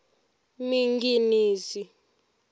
minginisi